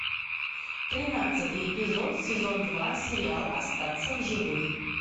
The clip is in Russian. тринадцатый эпизод сезон два сериал остаться в живых